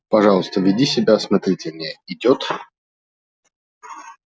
пожалуйста веди себя осмотрительнее идёт